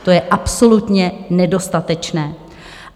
To je absolutně nedostatečné.